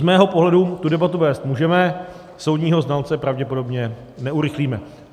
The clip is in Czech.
Z mého pohledu tu debatu vést můžeme, soudního znalce pravděpodobně neurychlíme.